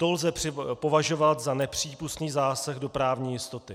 To lze považovat za nepřípustný zásah do právní jistoty.